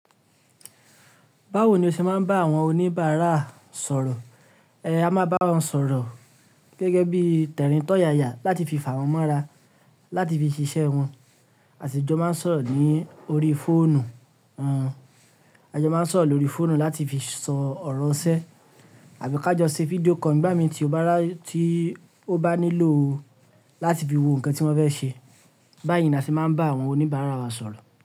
Báwo ni o ṣe máa ń bá àwọn oníbàárà sọ̀rọ̀? Ẹ̀ẹ́ a máa bá wọn sọ̀rọ̀ gẹ́gẹ́ bí t'ẹ̀rín tọ̀'yaya láti fi fà wọ́n mọ́ra láti fi ṣiṣẹ́ wọn. A sì jọ máa ń sọ̀rọ̀ ní orí fóònù. Àá jọ máa ń sọ̀rọ̀ lórí fóònù láti fi sọ ọ̀rọ̀ iṣẹ, àbí ká jọ ṣe fídíò call nígbà mí tí ó bá nílò láti fi wo nǹkan tí wọ́n fẹ́ ṣe. Báyìí ni a sì máa ń bá àwọn oníbàárà wa sọ̀rọ̀